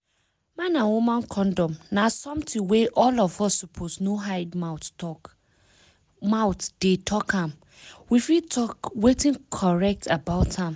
man and woman condom na something wey all of us suppose no hide mouth dey talk make we fit talk wetin correct about am